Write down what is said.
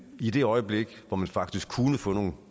i det øjeblik hvor man faktisk kunne få nogle